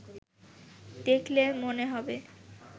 দেখলে মনে হবে